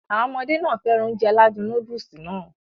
Àwọn ọmọdé nàá fẹ́ràn Ounjẹ aládùn nóódùsì Nàá